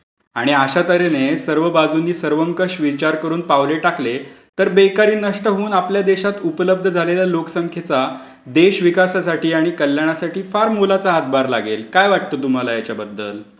आणि अशा तर् हेने सर्व बाजूने सर्वंकष विचार करून पावले टकले तर बेकारी नष्ट होऊन आपल्या देशात उपलब्ध झालेल्या लोकसंख्येचा देशविकाससाठी आणि कल्याणसाठी फार मोलाचा हातभार लागेल. काय वाटतं तुम्हाला याच्याबद्दल?